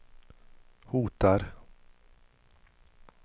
hotar